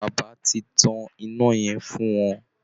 Bàbà ti tán iná yẹn fún wọn